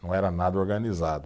Não era nada organizado.